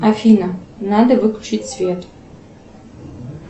афина надо выключить свет